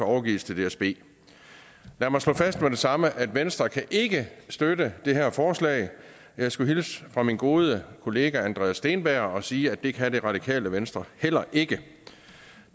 overgives til dsb lad mig slå fast med det samme at venstre ikke kan støtte det her forslag jeg skulle hilse fra min gode kollega andreas steenberg og sige at det kan det radikale venstre heller ikke